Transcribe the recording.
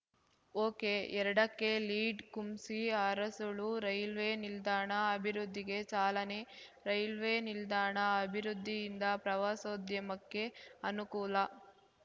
ಒಕೆಎರಡಕ್ಕೆ lead Kumsi Arasalu railway ನಿಲ್ದಾಣ ಅಭಿವೃದ್ಧಿಗೆ ಚಾಲನೆ ರೈಲ್ವೆ ನಿಲ್ದಾಣ ಅಭಿವೃದ್ಧಿಯಿಂದ ಪ್ರವಾಸೋದ್ಯಮಕ್ಕೆ ಅನುಕೂಲ